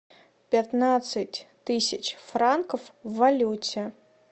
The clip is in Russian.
пятнадцать тысяч франков в валюте